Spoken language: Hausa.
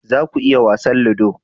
za ku yi wasan ludo?